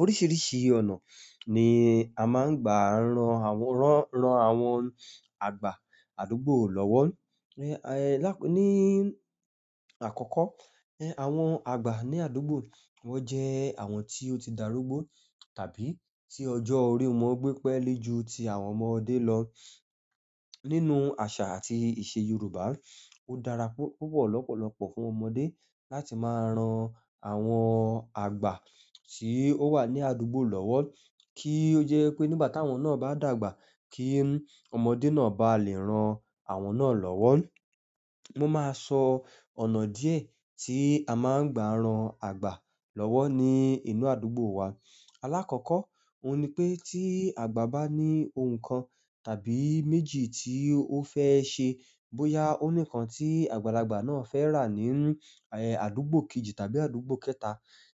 Oríṣìíríṣìí ọ̀nà ni a máa ń gbà ran àwọn, rán, ran àwọn àgbà àdúgbò lọ́wọ́. Lá-- ní àkọ́kọ́, àwọn àgbà ní àdúgbò, wọ́n jẹ́ àwọn tí ó ti dàrúgbó tàbí tí ọjọ́ orí wọn gbé pẹ́li jù tí àwọn ọmọdé lọ. Nínú àṣà àti ìṣe Yorùbá, ó dára púpọ̀ lọ́pọ̀lọpọ̀ fún ọmọdé láti máa ran àwọn àgbà tí ó wà ní àdúgbò lọ́wọ́ kí ó jẹ́ pé nígbà tí àwọn náà bá dàgbà kí ọmọdé náà bá lè ran àwọn náà lọ́wọ́. Mo máa sọ ọ̀nà díẹ̀ tí a máa ń gbà ran àgbà lọ́wọ́ ní inú àdúgbò wa. Alákọ̀ọ́kọ́, òun ni pé tí àgbà bá ní ohun kan tàbí méjì tí ó fẹ́ ṣe, bóyá òun nìkan tí àgbàlagbà náà fẹ́ rà nínú àdúgbò kejì tàbí àdúgbò kẹta,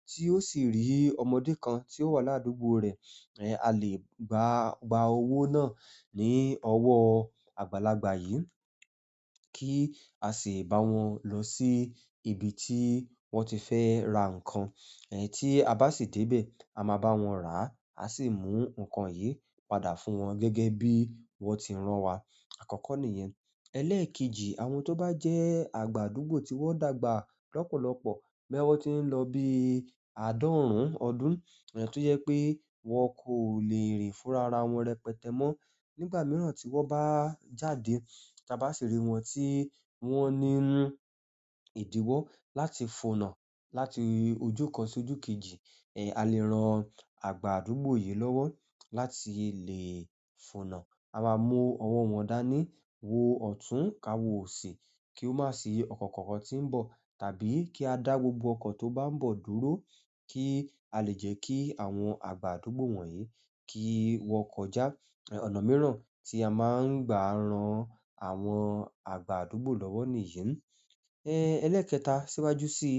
tí ó sì rí ọmọdé kan tí ó wà ládùúgbò rẹ̀, a lè gbà, gba owó náà ní ọwọ́ àgbàlagbà yìí kí a sì bá wọn lọ sí ibi tí wọ́n ti fẹ́ ra ǹkan, tí a bá sì dé bẹ̀, a máa bá wọn rà, a sì mú ǹkan yìí padà fún wọn gẹ́gẹ́ bí wọ́n ti rán wa. Àkọ́kọ́ nìyẹn. Ẹlẹ́ẹ̀kejì, àwọn tó bá jẹ́ àgbà àdúgbò tí wọ́n dàgbà lọ́pọ̀lọpọ̀, bóyá wọ́n ti ń lọ bí àádọ́rún ọdún, tó jẹ́ pé wọn kò lè rìn fúnra ara wọn rẹpẹtẹ mọ́, nígbà mìíràn tí wọ́n bá jáde, tí a bá sì rí wọn tí wọ́n ní idiwọ láti fọ̀nà láti ojú kan sí ojú kejì, a lè ran àgbà àdúgbò yìí lọ́wọ́ láti lè fonà. A máa mú ọwọ́ wọn dání, wo ọ̀tún ká wo òsì kí ó má sì ọkọ̀ kankan tí ń bọ̀ tàbí kí a dá gbogbo ọkọ̀ tó bá ń bọ̀ dúró kí a lè jẹ́ kí àwọn àgbà àdúgbò wọ̀nyí kí wọ́n kọjá. Ọ̀nà mìíràn tí a máa ń gbà ran àwọn àgbà àdúgbò lọ́wọ́ nìyẹn. Ẹlẹ́ẹ̀kẹta, síwájú síi,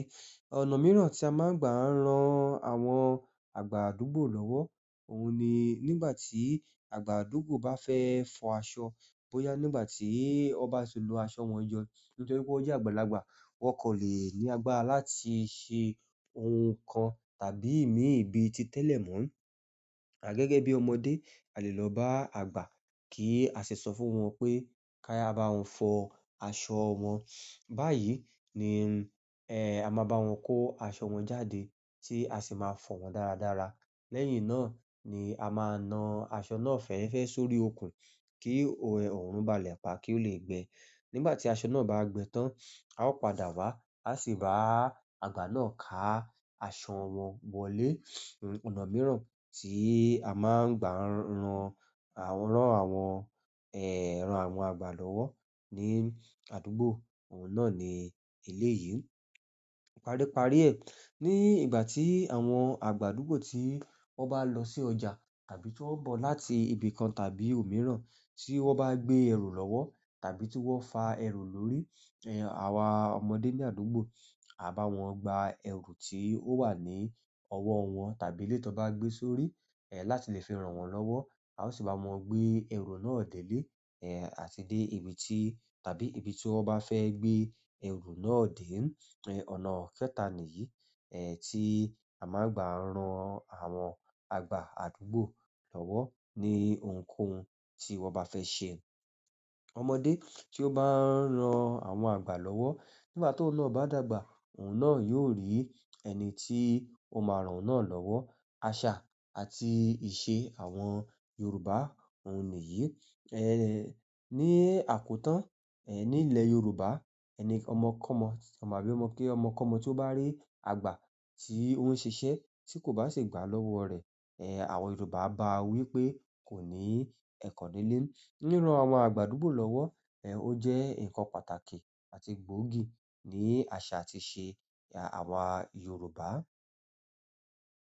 ọ̀nà mìíràn tí a máa ń gbà ran àwọn àgbà àdúgbò lọ́wọ́, òun ni nígbà tí àgbà àdúgbò bá fẹ́ fọ aṣọ, bóyá nígbà tí ọba ti lo aṣọ wọn jọ, nítorí pé wọ́n jẹ́ àgbàlagbà, wọ́n kò lè ní agbára láti ṣe ohun kan tàbí mìín bí i tí tẹ́lẹ̀ mọ́. Gẹ́gẹ́ bí ọmọdé, a lè lọ bá àgbà kí a sì sọ fún wọn pé ká ya bá wọn fọ aṣọ wọn. Báyìí ni a máa bá wọn kó aṣọ wọn jáde tí a sì máa fọ̀ wọ́n dáradára. Lẹ́yìn náà ni a máa na aṣọ náà fẹ́ẹ́rẹ́fẹ́ sórí okùn kí òrùn balẹ̀ pá kí ó lè gbẹ. Nígbà tí aṣọ náà bá gbẹ tán, a ó padà wá, a sì bá àgbà náà ká aṣọ wọn wọlé. Ọ̀nà mìíràn tí a máa ń gbà ran àwọn, rán àwọn àgbà lọ́wọ́ ní àdúgbò, òun náà ni eléyìí. Paríparí ẹ, ní ìgbà tí àwọn àgbà àdúgbò tí wọ́n bá lọ sí ọjà tàbí tí wọ́n ń bọ̀ láti ibì kan tàbí òmíràn tí wọ́n bá gbé ẹrù lọ́wọ́ tàbí tí wọ́n fa ẹrù lórí, àwa ọmọdé ní àdúgbò, a bá wọn gba ẹrù tí ó wà ní ọwọ́ wọn tàbí lé tí wọ́n bá gbé sórí, láti lè fi ran wọ́n lọ́wọ́. A ó sì bá wọn gbé ẹrù náà délé, àti dé ibi tí tàbí ibi tí wọ́n bá fẹ́ gbé ẹrù náà dé. Ọ̀nà kẹta nìyí tí a máa ń gbà ran àwọn àgbà àdúgbò lọ́wọ́ ní ohunkóhun tí wọ́n bá fẹ́ ṣe. Ọmọdé ti bá ń rán àwọn àgbà lọwọ nígbà ti ohùn náà bá dàgbà ohùn náà yóò rí ẹnití o má ràn ohun náà lọwọ àṣà àti ìṣe àwọn Yorùbá, òun nìyí. Ni àkótán, nílẹ̀ Yorùbá ẹni ọmọ kọ́mọ, ọmọ àbí ọmọ kí ọmọ kọ́mọ tí ó bá rí àgbà tí ó ń ṣiṣẹ́ tí kò bá ṣi gbá lọ́wọ́ rẹ̀, àwọn Yorùbá á bá wí pé kò ní ẹ̀kọ́ nílé. Ríran àwọn àgbà àdúgbò lọ́wọ́, ó jẹ́ ǹkan pàtàkì àti gbóògì ní àṣà àti ìṣe àwá Yorùbá.